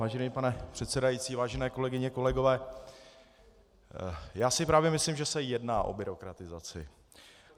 Vážený pane předsedající, vážené kolegyně, kolegové, já si právě myslím, že se jedná o byrokratizaci.